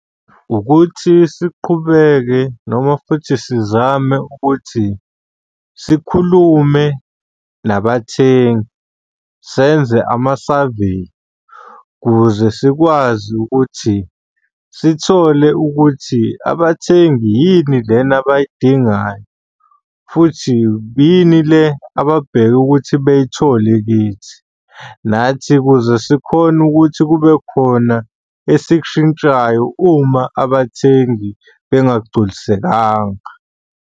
Ukuthi siqhubeke noma futhi sizame ukuthi sikhulume nabathengi, senze ama-survey ukuze sikwazi ukuthi sithole ukuthi abathengi yini lena abayidingayo, futhi yini le ababheke ukuthi beyithole kithi. Nathi ukuze sikhone ukuthi kube khona esikushintshayo uma abathengi bengagculisekanga.